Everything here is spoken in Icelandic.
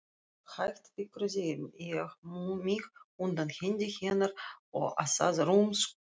Hægt fikraði ég mig undan hendi hennar og að rúmstokknum.